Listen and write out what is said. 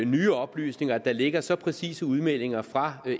nye oplysninger at der ligger så præcise udmeldinger fra